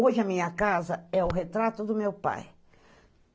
Hoje, a minha casa é o retrato do meu pai.